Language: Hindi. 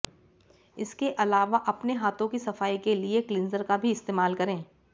इसके अलावा अपने हाथों की सफाई के लिए क्लींजर का भी इस्तेमाल करें